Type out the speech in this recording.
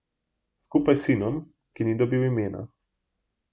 Skupaj s sinom, ki ni dobil imena.